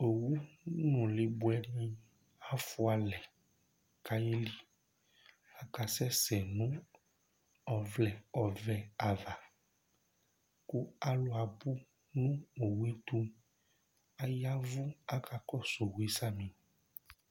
Owu nʋ ɛmɔɔ ni bʋɛ ni afʋalɛ kʋ ayeli Akasɛsɛ nʋ ɔvlɛ ɔvɛ ava kʋ alu abʋ poo nʋ owu ye tu Ayavʋ kʋ akakɔsu owʋ ye samì